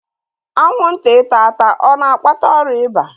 Anwụnta ịta ata a na-akpata ọrịa ịba?